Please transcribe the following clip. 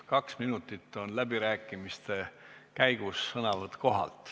Kaks minutit kestab läbirääkimiste käigus sõnavõtt kohalt.